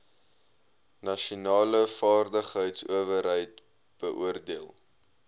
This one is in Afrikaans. nasionale vaardigheidsowerheid beoordeel